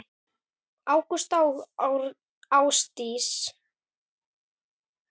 Ágústa og Ásdís.